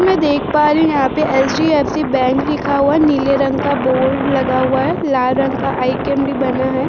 मैं देख पा रही हूँ यहाँ पे एच.डी.एफ.सी. बैंक लिखा हुआ है। नीले रंग का बोर्ड लगा हुआ है। लाल रंग का आइकेन भी बना है।